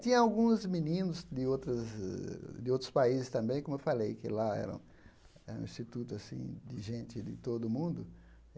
Tinha alguns meninos de outras uh de outros países também, como eu falei, que lá eram instituto assim de gente de todo o mundo.